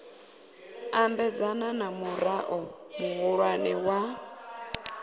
ambedzana na murao muhulwane wa